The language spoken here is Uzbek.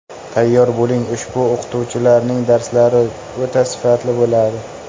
Tayyor bo‘ling, ushbu o‘qituvchilarning darslari o‘ta sifatli bo‘ladi!